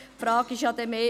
Die Frage ist mehr: